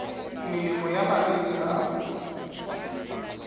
melemo ya malwetse a a